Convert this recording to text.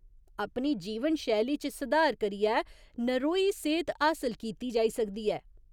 अपनी जीवन शैली च सधार करियै नरोई सेह्त हासल कीती जाई सकदी ऐ।